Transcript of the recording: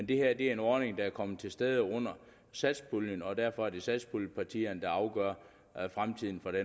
det her er en ordning der er kommet i stand under satspuljen og derfor er det satspuljepartierne der afgør fremtiden for